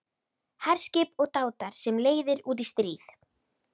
HERSKIP OG DÁTAR SEM LEIÐIR ÚT Í STRÍÐ